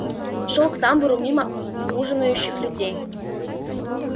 шёл к тамбуру мимо ужинающих людей